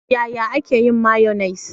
Yaya ake yin mayonnaise?